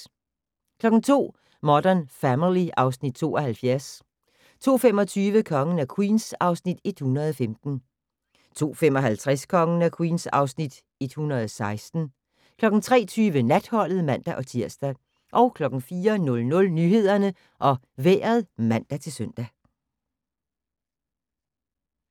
02:00: Modern Family (Afs. 72) 02:25: Kongen af Queens (Afs. 115) 02:55: Kongen af Queens (Afs. 116) 03:20: Natholdet (man-tir) 04:00: Nyhederne og Vejret (man-søn)